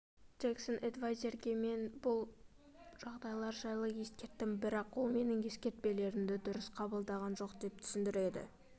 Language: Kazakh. джексон эдвайзерге мен бұл жағдайлар жайлы ескерттім бірақ ол менің ескертпелерімді дұрыс қабылдаған жоқ деп түсіндіреді